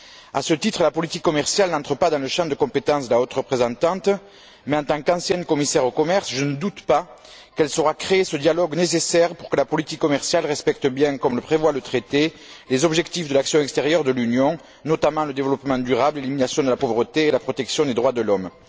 À ce titre, la politique commerciale n'entre pas dans le champ de compétence de la haute représentante, mais en tant qu'ancienne commissaire au commerce, je ne doute pas qu'elle saura créer ce dialogue nécessaire pour que la politique commerciale respecte bien, comme le prévoit le traité, les objectifs de l'action extérieure de l'Union, notamment le développement durable, l'élimination de la pauvreté et la protection des droits de l'homme.